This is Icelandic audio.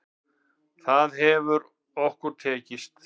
Það hefur okkur tekist.